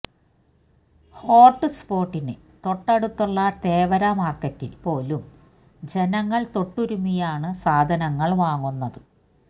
hot സ്പോട്ടിന് തൊട്ടടുത്തുള്ള തേവര മാർക്കറ്റിൽ പോലും ജനങ്ങൾ തൊട്ടുരുമ്മിയാണ് സാധനങ്ങൾ വാങ്ങുന്നത്